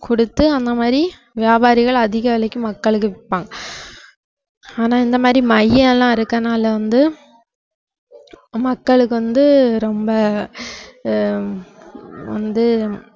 கொடுத்து அந்த மாதிரி வியாபாரிகள் அதிக விலைக்கு மக்களுக்கு விப்பாங்க ஆனால் இந்த மாதிரி மையம் எல்லாம் இருக்கிறதுனால வந்து மக்களுக்கு வந்து ரொம்ப ஆஹ் ஹம் வந்து